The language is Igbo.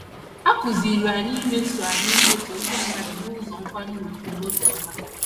A kụziiri anyị imeso anyị imeso ndị mmadụ n’ụzọ nkwanye ùgwù na obiọma.